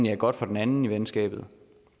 er godt for den anden i venskabet